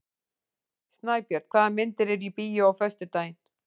Snæbjörn, hvaða myndir eru í bíó á föstudaginn?